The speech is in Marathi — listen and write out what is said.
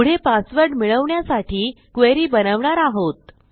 पुढे पासवर्ड मिळवण्यासाठी क्वेरी बनवणार आहोत